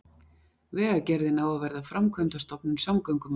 Vegagerðin á að verða framkvæmdastofnun samgöngumála